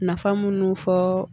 Nafa munnu fɔɔɔ